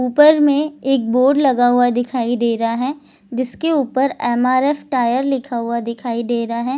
ऊपर में एक बोर्ड लगा हुआ दिखाई दे रहा है जिसके ऊपर एम.आर.एफ. टायर लिखा हुआ दिखाई दे रहा है ।